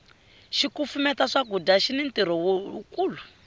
xikufumeta swakudya xini ntirho wu kulu